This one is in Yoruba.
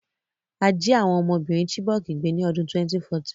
A jí àwon ọmọbìrin Chibok gbé ni odún 2014